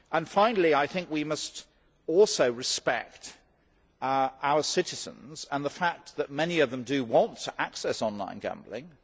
Finally, I think we must also respect our citizens and the fact that many of them do want to access online gambling.